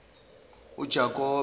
ujakobe